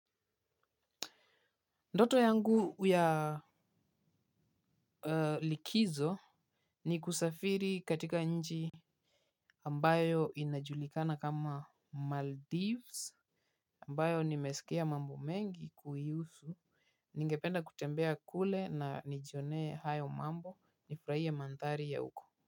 Ndoto yangu ya likizo ni kusafiri katika nchi ambayo inajulikana kama maldives ambayo nimesikia mambo mengi kuihusu ningependa kutembea kule na nijionee hayo mambo nifurahie mandhari ya huko.